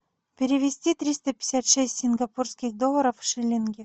перевести триста пятьдесят шесть сингапурских долларов в шиллинги